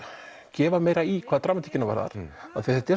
gefa meira í hvað dramatíkina varðar þetta er